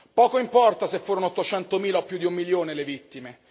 Poco importa se furono ottocentomila o più di un milione le vittime